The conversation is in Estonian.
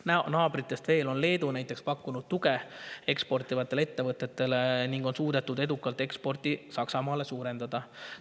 on näiteks Leedu pakkunud tuge eksportivatele ettevõtetele ning suutnud eksporti Saksamaale edukalt suurendada.